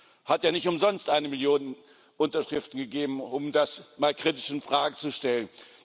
Es hat ja nicht umsonst eine Million Unterschriften gegeben, um das mal kritisch in Frage zu stellen.